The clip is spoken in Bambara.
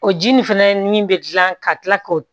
O ji nin fɛnɛ ni min bɛ dilan ka kila k'o